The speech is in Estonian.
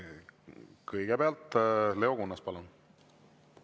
Kõigepealt Leo Kunnas, palun!